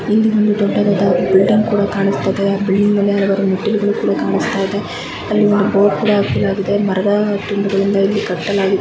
ಇಲ್ಲಿ ದೊಡ್ಡದ ಬಿಲ್ಡಿಂಗ್ ಕಾಣಿಸ್ತಾಯಿದೆ ಆ ಬಿಲ್ಡಿಂಗ್ ಮೇಲೆ ಮೀಟಿಂಗ್ ಕೂಡ ಕಾನಿಸ್ತಾ ಇದೆ ಅಲ್ಲಿ ಒಂದು ಬೋರ್ಡ್ ಕೂಡ ಕಾಣಿಸ್ತಾಯಿದೆ ಮರದ ತುಂಡುಗಲ್ಲಿನಿಂದ ಕಟ್ಟಾಲಾಗಿದೆ